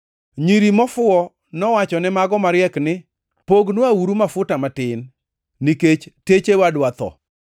Nyiri mofuwo nowachone mago mariek ni, ‘Pognwauru mafuta matin, nikech techewa dwa tho.’